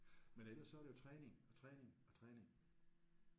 Men ellers så er det jo træning og træning og træning